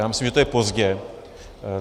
Já myslím, že to je pozdě.